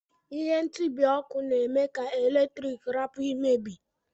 Ihe ntibi ọkụ na eme ka eletrik rapu imebi.